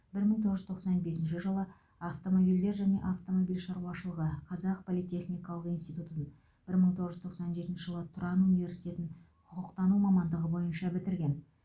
бір мың тоғыз жүз тоқсан бесінші жылы автомобильдер және автомобиль шаруашылығы қазақ политехникалық институтутын бір мың тоғыз жүз тоқсан төртінші жылы тұран университетін құқықтану мамандығы бойынша бітірген